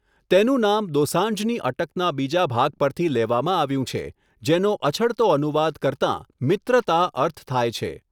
તેનું નામ દોસાંઝની અટકના બીજા ભાગ પરથી લેવામાં આવ્યું છે, જેનો અછડતો અનુવાદ કરતાં 'મિત્રતા' અર્થ થાય છે.